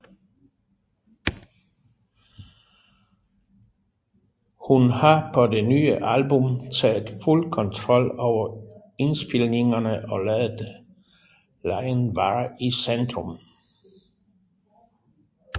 Hun har på det nye album taget fuld kontrol over indspilningerne og ladet legen være i centrum